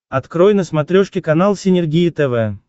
открой на смотрешке канал синергия тв